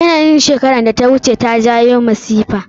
Yanayi na shekerar da ta wuce ta jawo masifa.